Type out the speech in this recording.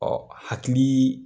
Ɔ hakili